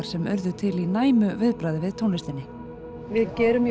sem urðu til í næmu viðbragði við tónlistinni við gerum